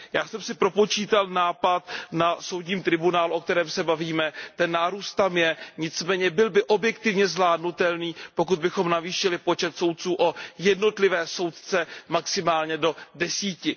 Já jsem si propočítal nápor na Tribunál, o kterém se bavíme, ten nárůst tam je, nicméně byl by objektivně zvládnutelný, pokud bychom navýšili počet soudců o jednotlivé soudce maximálně do desíti.